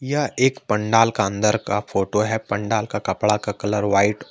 यह एक पंडाल का अंदर का फोटो है पंडाल का कपड़ा का कलर व्हाइट --